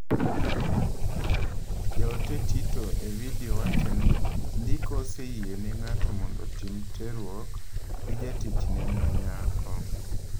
Jaote Tito e vidio wacho ni ndiko oseyiene ng’ato mondo otim terruok gi jatichne ma nyako.